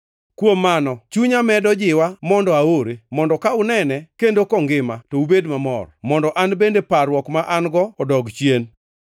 Kuom mano, chunya medo jiwa mondo aore, mondo ka unene kendo kongima, to ubed mamor, mondo an bende parruok ma an-go odog chien.